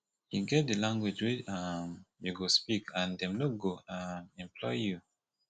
e get di language wey um you go speak and dem no go um employ you